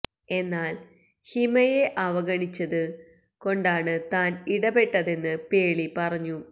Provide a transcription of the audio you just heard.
എന്നാല് ഹിമയെ അവഗണിച്ചത് കൊണ്ടാണ് താന് ഇടപെട്ടതെന്ന് പേളി പറഞ്ഞു